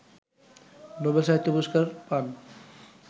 Nobel সাহিত্য পুরস্কার পান